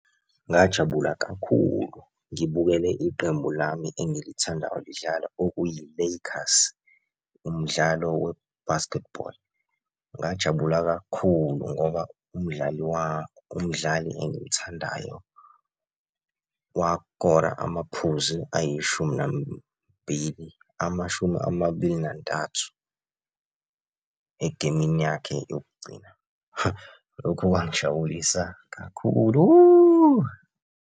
Ngajabula kakhulu ngibukele iqembu lami engilithandayo lidlala okuyi-Lakers, umdlalo we-basketball. Ngajabula kakhulu ngoba umdlali umdlali engimthandayo wakora amaphuzu ayishumi nambili, amashumi amabili nantathu egemini yakhe yokugcina. Lokhu kwangijabulisa kakhulu.